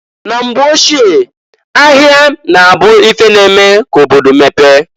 Na mgbe ochie, ahịa na-abu ife na-eme ka obodo mepee.